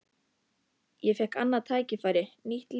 Ég fékk annað tækifæri, nýtt líf.